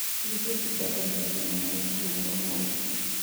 Gĩpindi kĩa mbere kĩa thinema gĩkwonanwa ũmũthĩ